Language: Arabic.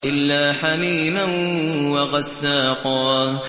إِلَّا حَمِيمًا وَغَسَّاقًا